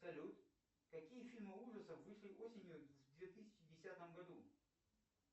салют какие фильмы ужасов вышли осенью в две тысячи десятом году